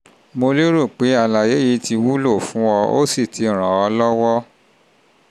mo lérò pé àlàyé yìí ti wúlò fún ọ ó sì ti ràn ọ́ lọ́wọ́